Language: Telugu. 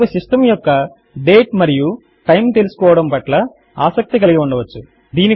మనకు సిస్టమ్ యొక్క డేట్ మరియు టైమ్ తెలుసుకోవడము పట్ల ఆసక్తి కలిగి ఉండవచ్చు